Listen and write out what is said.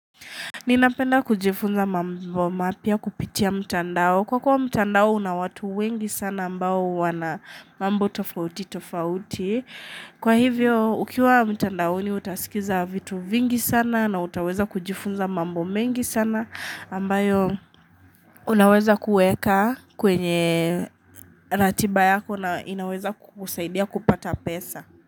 Ninapenda kujifunza mambo mapya kupitia mtandao. Kwa kuwa mtandao una watu wengi sana ambao wanamambo tofauti tofauti. Kwa hivyo ukiwa mtandaoni utasikiza vitu vingi sana na utaweza kujifunza mambo mengi sana ambayo unaweza kuweka kwenye ratiba yako na inaweza kukusaidia kupata pesa.